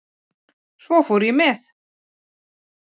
Svo fór ég með